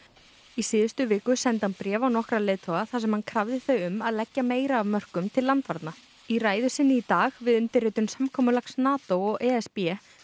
í síðustu viku sendi hann bréf á nokkra leiðtoga þar sem hann krafði þau um að leggja meira af mörkum til landvarna í ræðu sinni í dag við undirritun samkomulags NATO og e s b